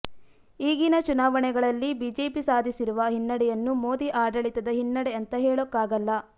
ಈಗಿನ ಚುನಾವಣೆಗಳಲ್ಲಿ ಬಿಜೆಪಿ ಸಾಧಿಸಿರುವ ಹಿನ್ನಡೆಯನ್ನು ಮೋದಿ ಆಡಳಿತದ ಹಿನ್ನಡೆ ಅಂತ ಹೇಳೋಕ್ಕಾಗಲ್ಲ